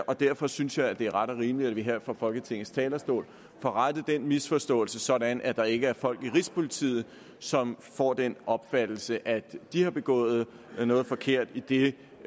og derfor synes jeg at det er ret og rimeligt at vi her fra folketingets talerstol får rettet den misforståelse sådan at der ikke er folk i rigspolitiet som får den opfattelse at de har begået noget forkert idet